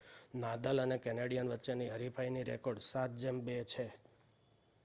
Nadal અને Canadian વચ્ચે ની હરીફાઈ નો રેકોર્ડ 7-2 છે